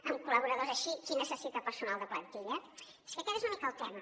amb col·laboradors així qui necessita personal de plantilla és que aquest és una mica el tema